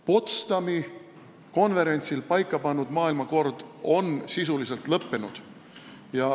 Potsdami konverentsil paika pandud maailmakord on sisuliselt lõppenud.